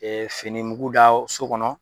N'i ye fini mugu da so kɔnɔ